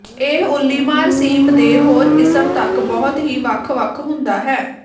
ਇਹ ਉੱਲੀਮਾਰ ਸੀਪ ਦੇ ਹੋਰ ਕਿਸਮ ਤੱਕ ਬਹੁਤ ਹੀ ਵੱਖ ਵੱਖ ਹੁੰਦਾ ਹੈ